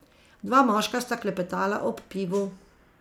Dva moška sta klepetala ob pivu.